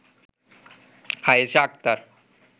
Ayesha Akter